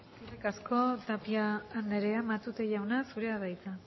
eskerrik asko tapia andrea matute jauna zurea da hitza